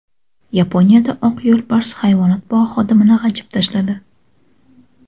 Yaponiyada oq yo‘lbars hayvonot bog‘i xodimini g‘ajib tashladi.